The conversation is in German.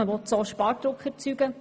So will man Spardruck erzeugen.